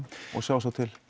og sjá svo til